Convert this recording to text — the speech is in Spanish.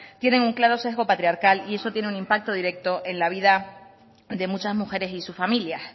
tienen un claro sesgo patriarcal y eso tiene un impacto directo en la vida de muchas mujeres y sus familias